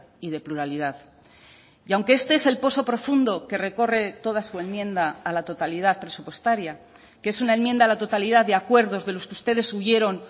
y de pluralidad y aunque este es el poso profundo que recorre toda su enmienda a la totalidad presupuestaria que es una enmienda a la totalidad de acuerdos de los que ustedes huyeron